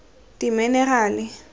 dimenerale